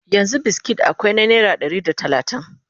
yanzun biskit akwai na naira Ɗari da talatin